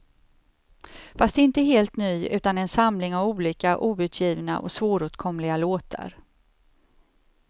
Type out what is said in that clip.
Fast inte helt ny, utan en samling av olika outgivna och svåråtkomliga låtar.